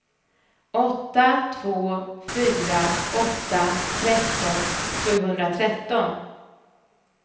åtta två fyra åtta tretton sjuhundratretton